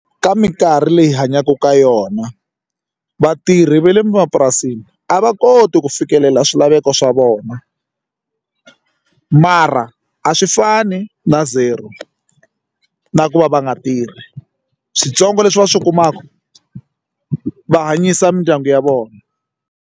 Ka minkarhi leyi hi hanyaka ka yona vatirhi va le mapurasini a va koti ku fikelela swilaveko swa vona mara a swi fani na zero na ku va va nga tirhi switsongo leswi va swi kumaka va hanyisa mindyangu ya vona.